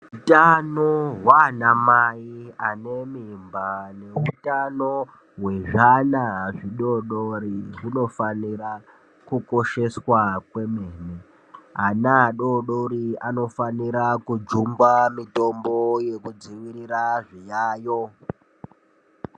Utano hwaanamai ane mimba neutano hwezvana zvidoodori zvinofanira kukosheswa kwemene. Ana adoodori anofanira kujungwa mitombo yekudzivirira zviyayo.